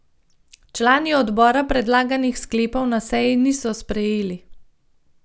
Člani odbora predlaganih sklepov na seji niso sprejeli.